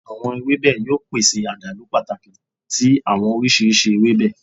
Awọn ewebe yoo pese adalu pataki ti awọn oriṣiriṣi ewebe